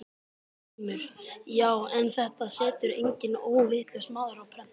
GRÍMUR: Já, en þetta setur enginn óvitlaus maður á prent.